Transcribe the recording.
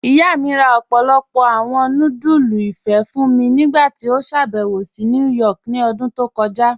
Iyá mi rá ọ̀pọ̀lọ́pọ̀ awọn núdúlù ìfé́ fún mí nígbàtí ó ṣàbẹ̀wò sí New York ní òdún tó kọja.